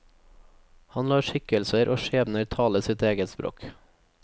Han lar skikkelser og skjebner tale sitt eget språk.